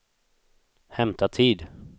hämta tid